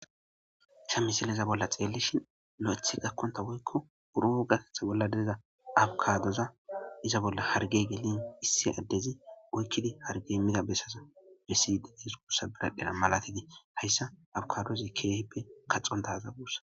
Sha misileza bolla xeellishin no'ethi gakkonta woykko uro gatetha bolla deza abukaadoza iza bolla hargey gelin issi addezi oykkidi hargey mida bessaza bessi dedees gurssa biraqdhena malatiti hayssa abukadozi keehipe kaxon daaza buussa.